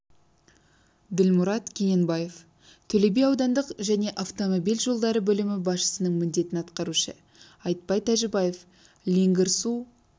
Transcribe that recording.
ділмұрат кененбаев төле би аудандық және автомобиль жолдары бөлімі басшысының міндетін атқарушы айтбай тәжібаев леңгір су